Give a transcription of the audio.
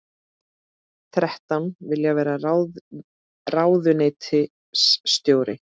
Þrettán vilja vera ráðuneytisstjóri